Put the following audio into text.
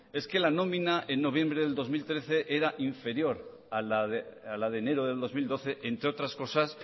es que la nómina en noviembre de dos mil trece era inferior a la de enero de dos mil doce entre otras cosas